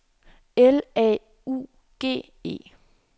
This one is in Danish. L A U G E